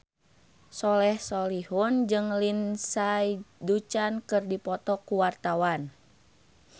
Soleh Solihun jeung Lindsay Ducan keur dipoto ku wartawan